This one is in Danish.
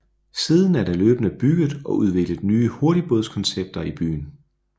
Siden er der løbende bygget og udviklet nye hurtigbådskoncepter i byen